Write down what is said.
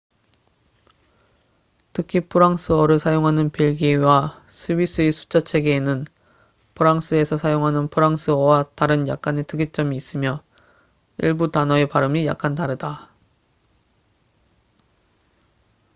특히 프랑스어를 사용하는 벨기에와 스위스의 숫자 체계에는 프랑스에서 사용하는 프랑스어와 다른 약간의 특이점이 있으며 일부 단어의 발음이 약간 다르다